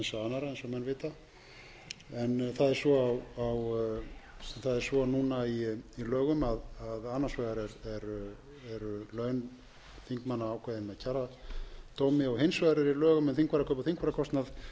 vita en það er svo núna í lögum að annars vegar eru laun þingmanna ákveðin með kjaradómi og hins vegar er í lögum um þingfararkaup og þingfararkostnað